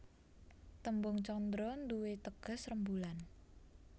Tembung candra nduwé teges rembulan